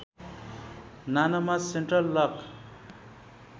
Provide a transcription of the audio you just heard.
नानोमा central lock